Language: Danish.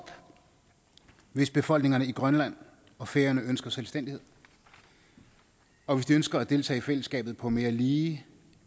hvis befolkningerne i grønland og færøerne ønsker selvstændighed og hvis de ønsker at deltage i fællesskabet på mere lige